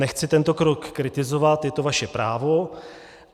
Nechci tento krok kritizovat, je to vaše právo.